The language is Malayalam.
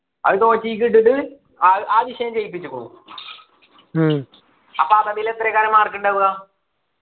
അത് തോറ്റേയ്ക്ക് ഇട്ടുക്ക ആഹ് ആ വിഷയം ജയിപ്പിച്ചുക്കുണു അപ്പൊ അറബിയിൽ എത്രയാ കാണു mark ഉണ്ടാവുക